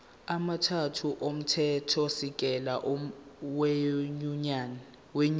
amathathu omthethosisekelo wenyunyane